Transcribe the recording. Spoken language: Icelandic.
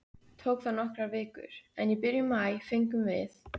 Tók það nokkrar vikur, en í byrjun maí fengum við